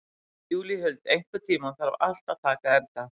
Júlíhuld, einhvern tímann þarf allt að taka enda.